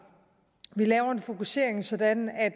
vi laver en fokusering sådan at